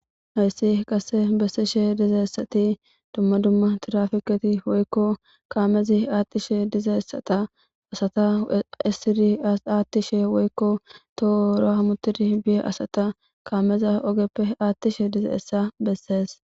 hayssi qasse bessishe dizaessati dumma dumma tirafikati woykko kaamezi aattishe dizaessata asata issiri aattishe woykko tohora hammutidi biye asata kaameza ogeppe aattishe diza essa bessees